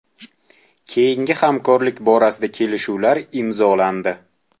Keyingi hamkorlik borasida kelishuvlar imzolandi.